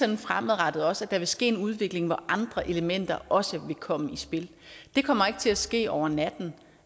det fremadrettet også at der vil ske en udvikling hvor andre elementer også vil komme i spil det kommer ikke til at ske over natten